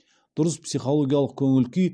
дұрыс психологиялық көңіл күй